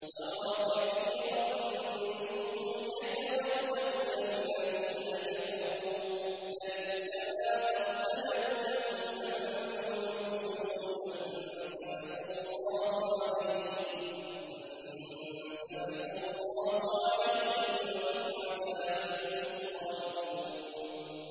تَرَىٰ كَثِيرًا مِّنْهُمْ يَتَوَلَّوْنَ الَّذِينَ كَفَرُوا ۚ لَبِئْسَ مَا قَدَّمَتْ لَهُمْ أَنفُسُهُمْ أَن سَخِطَ اللَّهُ عَلَيْهِمْ وَفِي الْعَذَابِ هُمْ خَالِدُونَ